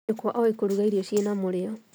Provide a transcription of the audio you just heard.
Nyũkwa oĩ kũruga irio ciĩna mũrĩo